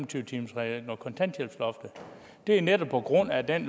tyve timersreglen og kontanthjælpsloftet det er netop på grund af den